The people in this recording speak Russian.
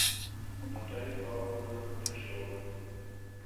наталья павловна кудряшова